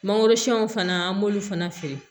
Mangorosun fana an b'olu fana feere